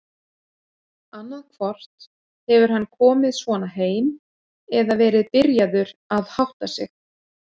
Annaðhvort hefur hann komið svona heim eða verið byrjaður að hátta sig.